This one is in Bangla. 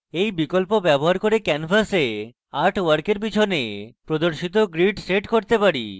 এই বিকল্প ব্যবহার করে আমরা canvas artwork পিছনে প্রদর্শিত grid set করতে পারি